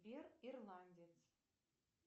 сбер ирландец